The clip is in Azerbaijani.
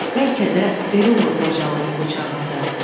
Bəlkə də belə olur qocalığım buçağında.